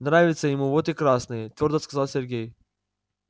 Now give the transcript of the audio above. нравится ему вот и красные твёрдо сказал сергей